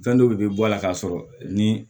Fɛn dɔw de bɛ bɔ a la k'a sɔrɔ ni